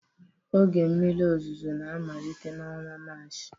Oge mmiri ozuzo na-amalite n'ọnwa Maachị